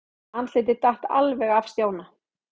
Andlitið datt alveg af Stjána.